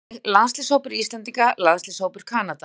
Sjá einnig: Landsliðshópur Íslendinga Landsliðshópur Kanada